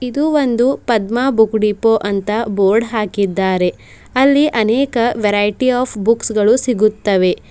ಇದು ಒಂದು Padma book depot board ಹಾಕಿದ್ದಾರೆ ಅಲ್ಲಿ ಅನೇಕ ವೆರೈಟಿ ಓಫ್ ಬುಕ್ಸ್ ಗಳು ಸಿಗುತ್ತವೆ.